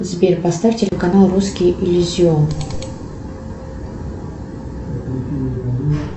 сбер поставь телеканал русский иллюзион